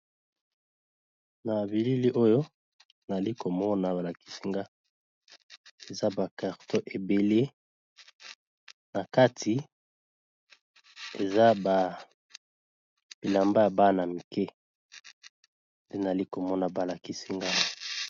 Na bilili oyo nali komona balakisinga eza ba carton ebele na kati eza ba bilamba ya bana mike nde nali komona balakisinga.